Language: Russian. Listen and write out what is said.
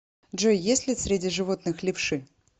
джой есть ли среди животных левши